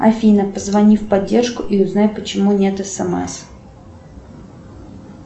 афина позвони в поддержку и узнай почему нет смс